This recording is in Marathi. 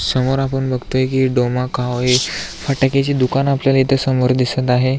समोर आपण बघतोय की डोमा खा होय फटक्याचे दुकान आपल्याला इथं समोर दिसत आहे.